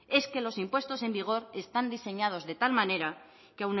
es que los impuestos en vigor están diseñados de tal manera que